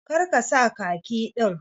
Kar ka sa khaki din.